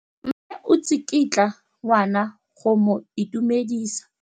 Mme o tsikitla ngwana go mo itumedisa.